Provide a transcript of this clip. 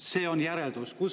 See on järeldus.